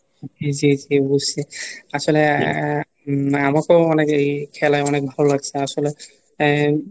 জি জি বুঝছি, আসলে আহ আমাকেও অনেকেই এই খেলায় অনেক ভালো লাগছে আসলে এর,